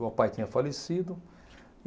O pai tinha falecido.